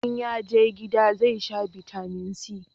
in yaje gida zai sha bitamin c